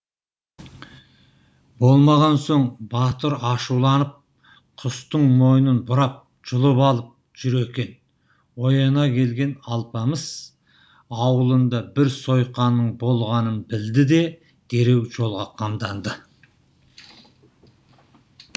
болмаған соң батыр ашуланып құстың мойнын бұрап жұлып алып жүр екен ояна келген алпамыс аулында бір сойқанның болғанын білді де дереу жолға қамданды